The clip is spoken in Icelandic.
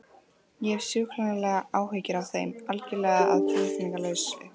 Ég hef sjúklegar áhyggjur af þeim, algjörlega að tilefnislausu.